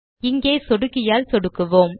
இங்கே சொடுக்கியால் சொடுக்குவோம்